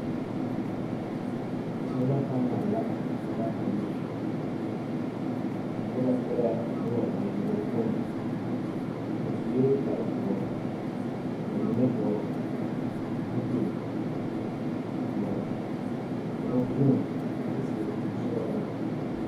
Sola panal la ka ba ennɛ. A noba e la noba bayopõi. Ba sue kpare doɔre ka ba mine vɔgel zupil doɔre. Ka kaŋa vuun kyɛ seɛ kuri sɔgelaa.